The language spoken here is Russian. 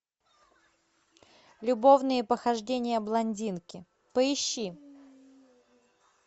любовные похождения блондинки поищи